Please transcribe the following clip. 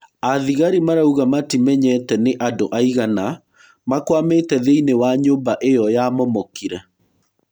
Athigarĩ marauga matimenyete nĩ andũaigana makwamĩte thĩiniĩ wa nyũmba ĩo yamomokire.